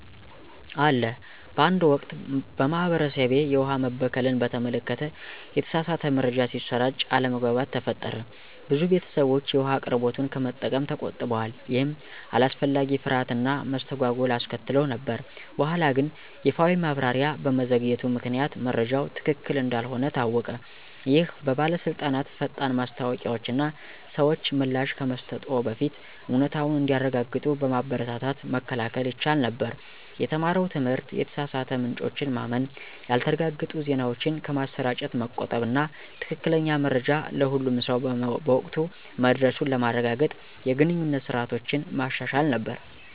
አለ በአንድ ወቅት፣ በማህበረሰቤ፣ የውሃ መበከልን በተመለከተ የተሳሳተ መረጃ ሲሰራጭ አለመግባባት ተፈጠረ። ብዙ ቤተሰቦች የውሃ አቅርቦቱን ከመጠቀም ተቆጥበዋል, ይህም አላስፈላጊ ፍርሃት እና መስተጓጎል አስከትሎ ነበር። በኋላግን ይፋዊ ማብራሪያ በመዘግየቱ ምክንያት መረጃው ትክክል እንዳልሆነ ታወቀ። ይህ በባለስልጣናት ፈጣን ማስታወቂያዎች እና ሰዎች ምላሽ ከመስጠትዎ በፊት እውነታውን እንዲያረጋግጡ በማበረታታት መከላከል ይቻል ነበር። የተማረው ትምህርት የተሳሳቱ ምንጮችን ማመን፣ ያልተረጋገጡ ዜናዎችን ከማሰራጨት መቆጠብ እና ትክክለኛ መረጃ ለሁሉም ሰው በወቅቱ መድረሱን ለማረጋገጥ የግንኙነት ስርዓቶችን ማሻሻል ነበር።